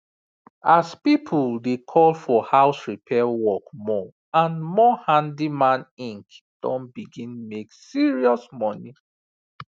as people dey call for house repair work more and more handyman inc don begin make serious money